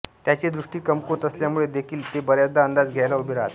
त्यांची दृष्टी कमकुवत असल्यामुळे देखील ते बऱ्याचदा अंदाज घ्यायला उभे राहतात